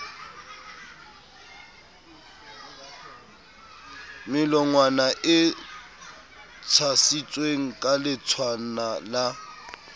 melongwana e tshasitsweng kaletshwana le